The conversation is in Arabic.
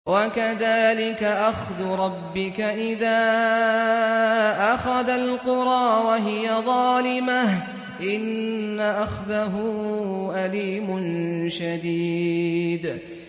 وَكَذَٰلِكَ أَخْذُ رَبِّكَ إِذَا أَخَذَ الْقُرَىٰ وَهِيَ ظَالِمَةٌ ۚ إِنَّ أَخْذَهُ أَلِيمٌ شَدِيدٌ